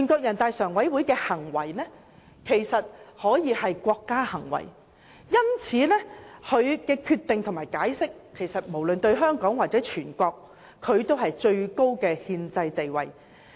人大常委會的行為其實可說是國家行為，所以其決定和解釋無論對香港或全國而言均具有最高的憲制地位。